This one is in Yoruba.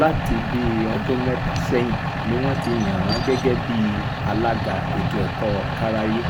láti bíi ọdún mẹ́ta sẹ́yìn ni wọ́n ti yàn án gẹ́gẹ́ bíi alága ètò ẹ̀kọ́ kárááyé